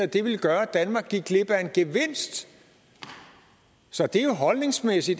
det ville gøre at danmark gik glip af en gevinst så det er jo en holdningsmæssig